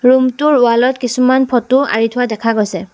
Room টোৰ wall ত কিছুমান ফটো আঁৰি থোৱা দেখা গৈছে।